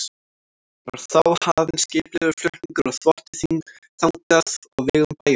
Var þá hafinn skipulegur flutningur á þvotti þangað á vegum bæjarins.